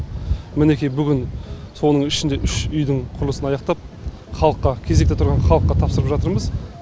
мінекей бүгін соның ішінде үш үйдің құрылысын аяқтап халыққа кезекте тұрған халыққа тапсырып жатырмыз